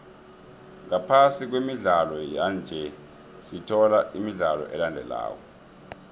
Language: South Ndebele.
ngaphasi kwemidlalo yanje sithola imidlalo elandelako